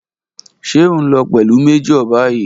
Ṣe o nlo pẹlu Major bayi?